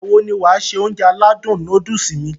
Ìgbàwo ni wàá se Ounjẹ aládùn nóódùsì mi?